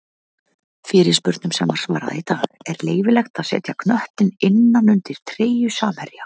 Fyrirspurnum sem var svarað í dag:-Er leyfilegt að setja knöttinn innan undir treyju samherja?